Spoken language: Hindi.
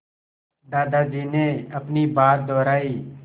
दादाजी ने अपनी बात दोहराई